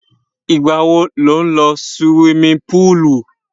Ìgbà wo lò ń sí suwimi púùlù?